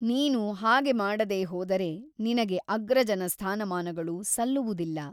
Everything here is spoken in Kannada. ನೀನು ಹಾಗೆ ಮಾಡದೆ ಹೋದರೆ ನಿನಗೆ ಅಗ್ರಜನ ಸ್ಥಾನಮಾನಗಳು ಸಲ್ಲುವುದಿಲ್ಲ.